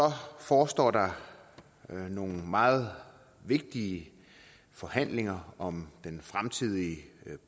forestår der nogle meget vigtige forhandlinger om den fremtidige